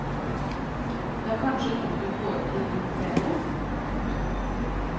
Det er kanskje noe du får til litt bedre. punktum